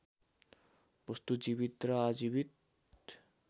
वस्तु जीवित र अजीवित